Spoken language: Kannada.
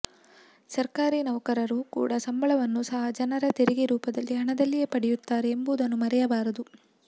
ಸರ್ಕಾರಿ ನೌಕರರು ಕೂಡಾ ಸಂಬಳವನ್ನು ಸಹ ಜನರ ತೆರಿಗೆ ರೂಪದ ಹಣದಲ್ಲಿಯೇ ಪಡೆಯುತ್ತಾರೆ ಎಂಬುದನ್ನು ಮರೆಯಬಾರದು